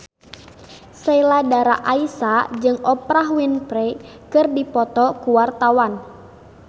Sheila Dara Aisha jeung Oprah Winfrey keur dipoto ku wartawan